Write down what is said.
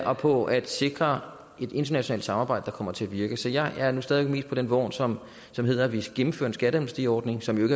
og på at sikre et internationalt samarbejde der kommer til at virke så jeg er stadig væk på den vogn som som hedder at vi skal gennemføre en skatteamnestiordning som jo